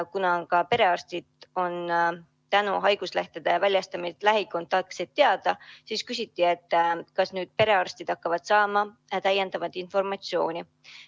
Kuna ka perearstidele on tänu haiguslehtede väljastamisele lähikontaktsed teada, siis küsiti, kas nüüd hakkavad perearstid saama täiendavat informatsiooni.